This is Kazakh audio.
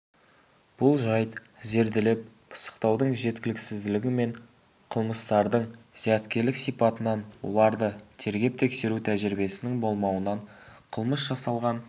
бұл жайт зерделеп пысықтаудың жеткіліксіздігі мен қылмыстардың зияткерлік сипатынан оларды тергеп-тексеру тәжірибесінің болмауынан қылмыс жасалған